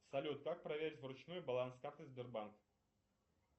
салют как проверить вручную баланс карты сбербанк